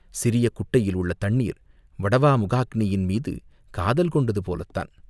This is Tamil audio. சிறிய குட்டையில் உள்ள தண்ணீர் வடவா முகாக்கினியின் மீது காதல் கொண்டது போலத் தான்!